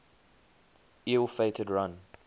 ill fated run